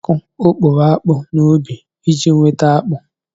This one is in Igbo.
A ga-akụ okporo akpụ n'ubi iji nweta akpụ.